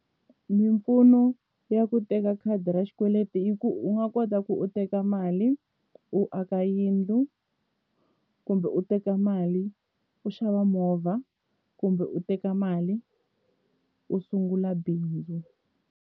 Mimpfuno ya ku teka khadi ra xikweleti i ku u nga kota ku u teka mali u aka yindlu kumbe u teka mali u xava movha kumbe u teka mali u sungula bindzu.